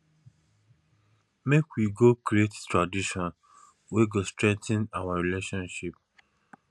make we go create traditions wey go strengthen our relationship